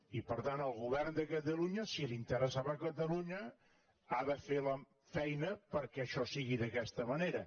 i per tant el govern de catalunya si li interessava a catalunya ha de fer la feina perquè això sigui d’aquesta manera